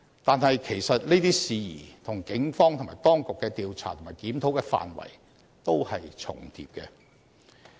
但是，其實這些事宜跟警方及當局的調查和檢討的範圍，都是重疊的。